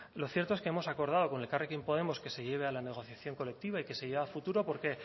lo cierto es que hemos acordado con elkarrekin podemos que se lleve a la negociación colectiva y que se lleve a futuro porque